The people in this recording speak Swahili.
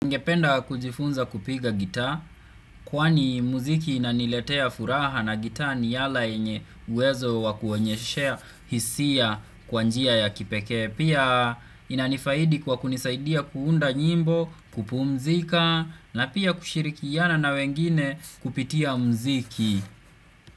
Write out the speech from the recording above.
Ningependa kujifunza kupiga gita, kwani muziki inaniletea furaha na gita ni ala yenye uwezo wa kuonyesha hisia kwa njia ya kipekee. Pia inanifaidi kwa kunisaidia kuunda nyimbo kupumzika na pia kushirikiana na wengine kupitia muziki.